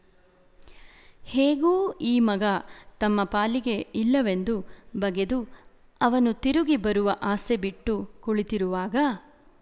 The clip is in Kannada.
ಹೇಗೂ ಈ ಮಗ ತಮ್ಮ ಪಾಲಿಗೆ ಇಲ್ಲವೆಂದು ಬಗೆದು ಅವನು ತಿರುಗಿ ಬರುವ ಆಸೆ ಬಿಟ್ಟು ಕುಳಿತಿರುವಾಗ